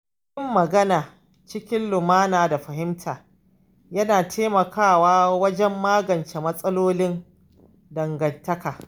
Yin magana cikin lumana da fahimta yana taimakawa wajen magance matsalolin dangantaka.